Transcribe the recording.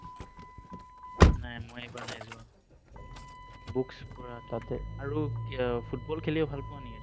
নাই, মই এইবাৰ নাই যোৱা। Books পঢ়া, আৰু কি football খেলিও ভাল পোৱা নেকি?